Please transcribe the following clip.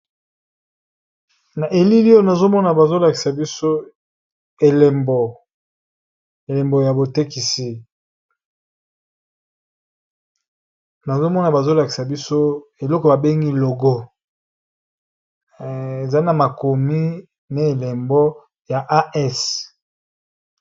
Na elili oyo, nazo mona bazo lakisa elembo ya botekisi. Nazo mona, bazo lakisa biso eloko babengi logo. Eza na makomi na elembo ya as